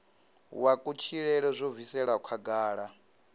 wa kutshilele zwo bviselwa khagala